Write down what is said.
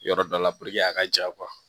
Yɔrɔ dɔ la a ka ja